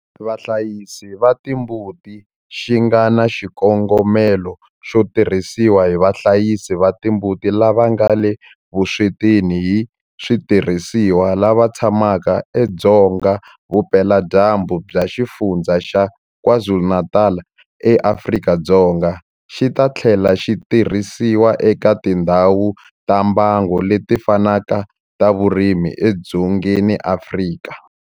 Vahlayisi va timbuti xi nga na xikongomelo xo tirhisiwa hi vahlayisi va timbuti lava nga le vuswetini hi switirhisiwa lava tshamaka edzonga vupeladyambu bya Xifundzha xa KwaZulu-Natal eAfrika-Dzonga, xi ta tlhela xi tirhisiwa eka tindhawu ta mbango leti fanaka ta vurimi edzongeni wa Afrika.